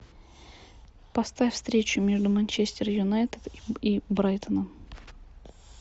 поставь встречу между манчестер юнайтед и брайтоном